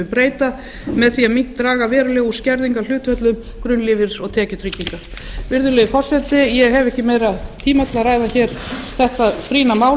við breyta með því að draga verulega úr skerðingarhlutföllum grunnlífeyris og tekjutrygginga virðulegi forseti ég hef ekki tíma til að ræða meira þetta brýna mál